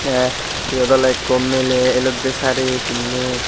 tay yot oley ikko miley eloddey sari pinney.